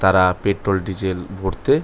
তারা petrol diesel ভরতে--